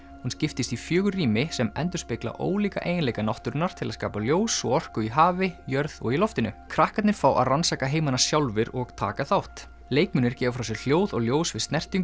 hún skiptist í fjögur rými sem endurspegla ólíka eiginleika náttúrunnar til að skapa ljós og orku í hafi jörð og í loftinu krakkarnir fá að rannsaka heimana sjálfir og taka þátt leikmunir gefa frá sér hljóð og ljós við snertingu